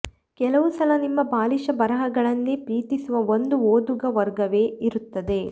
ಕೆಲವು ಸಲ ನಿಮ್ಮ ಬಾಲಿಶ ಬರಹಗಳನ್ನೇ ಪ್ರೀತಿಸುವ ಒಂದು ಓದುಗ ವರ್ಗವೇ ಇರುತ್ತದೆ